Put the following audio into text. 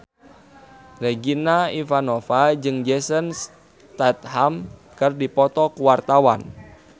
Regina Ivanova jeung Jason Statham keur dipoto ku wartawan